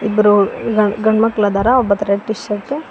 ಇಬ್ಬರೂ ಗಂಡ್ ಗಂಡ್ಮಕ್ಳದಾರ ಒಬ್ಬಾತ ರೆಡ್ ಟೀ ಶರ್ಟ್ .